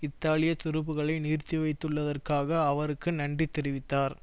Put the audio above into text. இத்தாலிய துருப்புக்களை நிறுத்தி வைத்துள்ளதற்காக அவருக்கு நன்றி தெரிவித்தார்